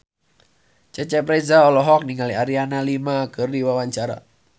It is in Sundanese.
Cecep Reza olohok ningali Adriana Lima keur diwawancara